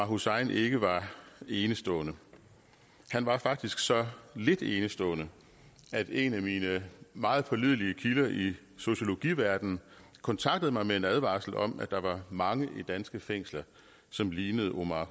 hussein ikke var enestående han var faktisk så lidt enestående at en af mine meget pålidelige kilder i sociologiverdenen kontaktede mig med en advarsel om at der var mange i danske fængsler som lignede omar